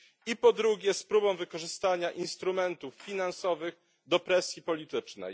I po drugie z próbą wykorzystania instrumentów finansowych do presji politycznej.